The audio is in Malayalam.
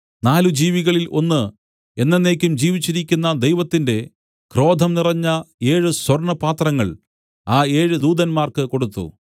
നാല് ജീവികളിൽ ഒന്ന് എന്നെന്നേക്കും ജീവിച്ചിരിക്കുന്ന ദൈവത്തിന്റെ ക്രോധം നിറഞ്ഞ ഏഴ് സ്വർണ്ണപാത്രങ്ങൾ ആ ഏഴ് ദൂതന്മാർക്ക് കൊടുത്തു